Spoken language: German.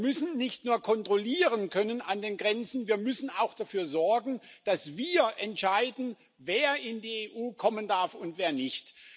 Wir müssen nicht nur an den Grenzen kontrollieren können, wir müssen auch dafür sorgen, dass wir entscheiden, wer in die EU kommen darf und wer nicht.